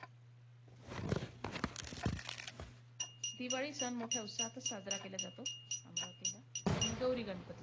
दिवाळी सण मोठ्या उत्साहातचं साजरा केला जातो अमरावतीला. आणि गौरी-गणपती.